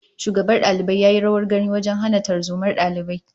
Shugaban dalibai ya yi rawar gani wajen hana tarzomar dalibai